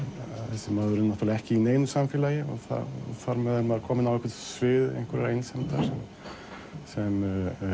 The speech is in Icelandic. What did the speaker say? þessi maður er náttúrulega ekki í neinu samfélagi og þar með er maður kominn á svið einhverrar einsemdir sem